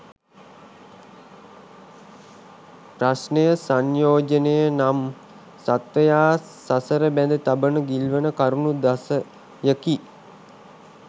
ප්‍රශ්නය සංයෝජන නම් සත්වයා සසර බැඳ තබන ගිල්වන කරුණු දසයකි.